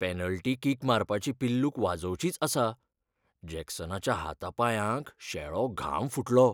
Penalty kick मारपाची पिल्लूक वाजोवचीच आसा, जॅक्सनाच्या हाता पांयांक शेळो घाम फुटलो.